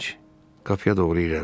Qapıya doğru irəlilədi.